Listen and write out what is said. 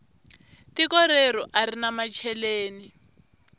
tiko reru arina macheleni